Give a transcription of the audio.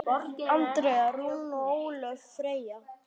Andrea Rún og Ólöf Freyja.